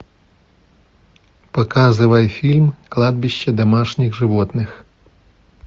показывай фильм кладбище домашних животных